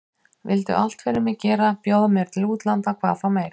Vildu allt fyrir mig gera, bjóða mér til útlanda hvað þá meir.